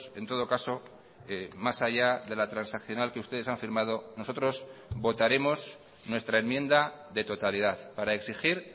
en todo caso más allá de la transaccional que ustedes han firmado nosotros votaremos nuestra enmienda de totalidad para exigir